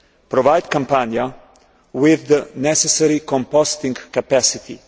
provide Campania with the necessary composting capacity